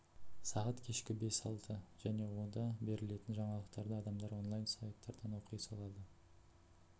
сағат кешкі бес алты және онда берілетін жаңалықтарды адамдар онлайн сайттардан оқи салады